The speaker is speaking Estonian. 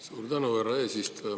Suur tänu, härra eesistuja!